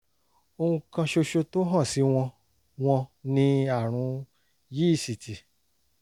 ohun kan ṣoṣo tó hàn sí wọn wọn ni àrùn yíìsìtì